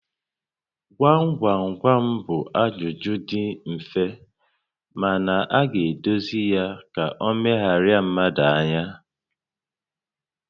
Gwam gwam gwam bụ ajụjụ dị mfe mana a ga-edozi ya ka ọ megharịa mmadụ ányá